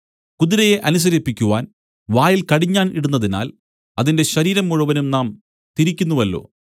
കുതിരയെ അനുസരിപ്പിക്കുവാൻ വായിൽ കടിഞ്ഞാൺ ഇടുന്നതിനാൽ അതിന്റെ ശരീരം മുഴുവനും നാം തിരിക്കുന്നുവല്ലോ